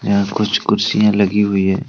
यहां कुछ कुर्सियां लगी हुई हैं।